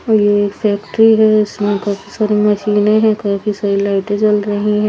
और ये एक फैक्ट्री है इसमें काफी सारी मशीनें हैं काफी सारी लाइटें जल रही हैं।